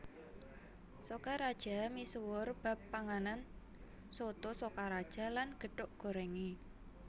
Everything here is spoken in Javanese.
Sokaraja misuwur bab panganan Soto Sokaraja lan gethuk gorèngé